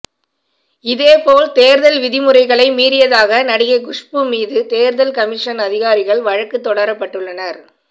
இதேபோல் தேர்தல் விதிமுறைகளை மீறியதாக நடிகை குஷ்பு மீதும் தேர்தல் கமிஷன் அதிகாரிகள் வழக்கு தொடரப்பட்டுள்ளனர்